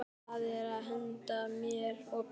Já, og það á að henda mér í Bellu bollu.